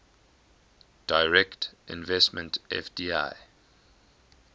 direct investment fdi